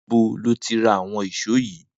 Nibó lò ti rà awọn ìṣó yi?